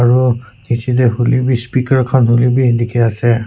aru niche te hoile bi speaker khan hoile bi eneka ase.